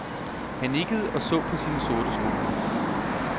Han nikkede og så på sine sorte sko.